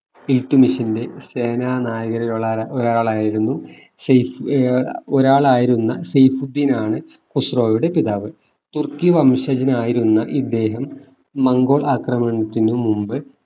ഇൽത്തുമിഷിന്റെ സേനാനായകനിൽ ഒരാളായിരുന്നു സൈഫ് ഏർ ഒരാളായിരുന്ന സൈഫുദ്ധീനാണു ഖുസ്രോയുടെ പിതാവ് തുർക്കി വംശജനായിരുന്ന ഇദ്ദേഹം മംഗോൾ ആക്രമണത്തിമു മുൻപ്